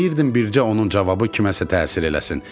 Deyirdim bircə onun cavabı kimsə nəsə təsir eləsin.